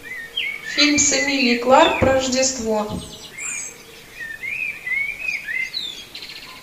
фильм с эмилией кларк про рождество